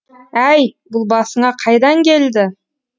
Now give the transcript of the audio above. әй бұл басыңа қайдан келді